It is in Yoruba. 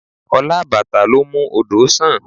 Ọlá àbàtà ló ń mú odò sàn